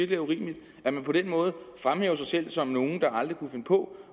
det er urimeligt at man på den måde fremhæver sig selv som nogle der aldrig kunne finde på